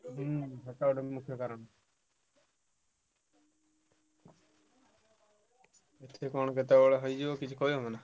ହୁଁ ସେଟା ଗୋଟେ ମୁଖ୍ୟ କାରଣ କଣ କେତବେଳେ ହେଇଯିବ କିଛି କହି ହବନା।